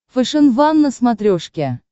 фэшен ван на смотрешке